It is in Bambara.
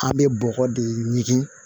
An bɛ bɔgɔ de ɲini